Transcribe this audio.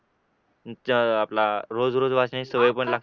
जे अह आपलं रोज रोज वाचण्याची सवय पण लागते